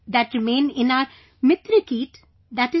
that remain in our MitraKeet i